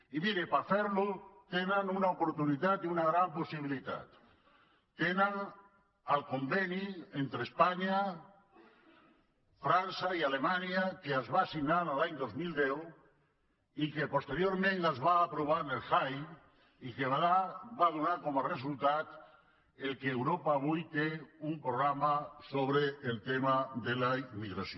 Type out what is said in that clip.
i miri per fer·la tenen una oportunitat i una gran pos·sibilitat tenen el conveni entre espanya frança i ale·manya que es va signar l’any dos mil deu i que posteriorment es va aprovar al jai i que va donar com a resultat que europa avui tingui un programa sobre el tema de la immigració